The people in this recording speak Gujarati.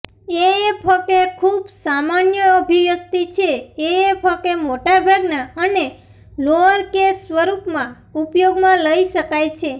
એએફકે ખૂબ સામાન્ય અભિવ્યક્તિ છે એએફકે મોટાભાગનાં અને લોઅરકેસ સ્વરૂપમાં ઉપયોગમાં લઈ શકાય છે